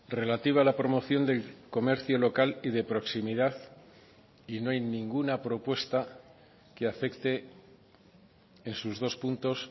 relativa a la promoción del comercio local y de proximidad y no hay ninguna propuesta que afecte en sus dos puntos